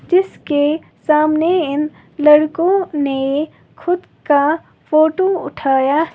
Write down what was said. जिसके सामने इन लड़कों ने खुद का फोटो उठाया --